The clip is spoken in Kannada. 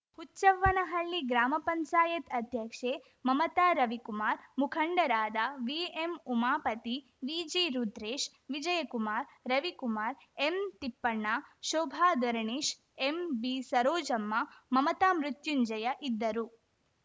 ಹುಚ್ಚವ್ವನಹಳ್ಳಿ ಗ್ರಾಮ ಪಂಚಾಯತ್ ಅಧ್ಯಕ್ಷೆ ಮಮತಾ ರವಿಕುಮಾರ್ ಮುಖಂಡರಾದ ವಿಎಂಉಮಾಪತಿ ವಿಜಿರುದ್ರೇಶ್ ವಿಜಯಕುಮಾರ್ ರವಿಕುಮಾರ್ ಎಂತಿಪ್ಪಣ್ಣ ಶೋಭಾ ಧರಣೇಶ್ ಎಂಬಿಸರೋಜಮ್ಮ ಮಮತಾ ಮೃತ್ಯುಂಜಯ ಇದ್ದರು